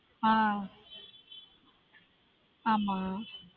ஆஹ் ஆமா